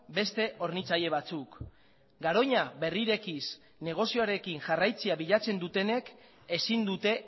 beste hornitzaile batzuk garoña berrirekiz negozioarekin jarraitzea bilatzen dutenek ezin dute